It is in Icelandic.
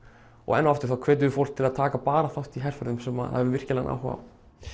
enn og aftur þá hvetjum við fólk til að taka bara þátt í herferðum sem það hefur virkilegan áhuga á